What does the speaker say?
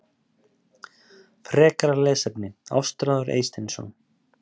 Frekara lesefni: Ástráður Eysteinsson.